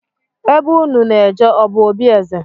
Ebe unu na-eje ọ bụ obi eze?